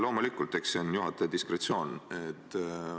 Loomulikult, eks see on juhataja diskretsioon.